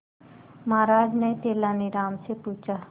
महाराज ने तेनालीराम से पूछा